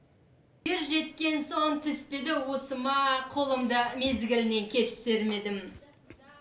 ер жеткен соң түспеді уысыма қолымды мезгілінен кеш сермедім